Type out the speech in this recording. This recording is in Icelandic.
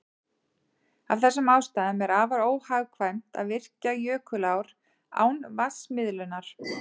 Af þessum ástæðum er afar óhagkvæmt að virkja jökulár án vatnsmiðlunar.